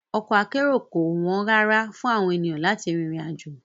Ọkọ̀ akérò kò wọ́n rárá fún àwọn ènìyàn láti rin ìrìn àjò